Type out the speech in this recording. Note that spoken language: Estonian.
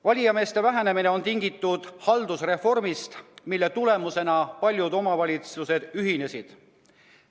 Valijameeste arvu vähenemine on tingitud haldusreformist, mille tulemusena paljud omavalitsused ühinesid.